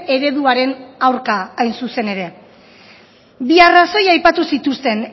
ereduaren aurka hain zuzen ere bi arrazoi aipatu zituzten